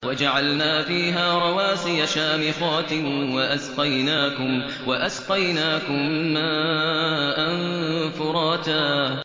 وَجَعَلْنَا فِيهَا رَوَاسِيَ شَامِخَاتٍ وَأَسْقَيْنَاكُم مَّاءً فُرَاتًا